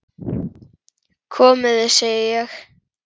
Komiði, segi ég!